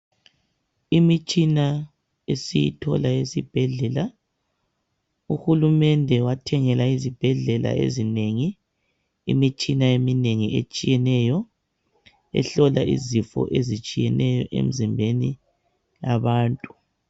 Imitshina esiyithola esibhedlela. Uhulumende wathengela izibhedlela ezinengi imitshina eminengi etshiyeneyo ehlola izifo ezitshiyeneyo emzimbeni yabantu.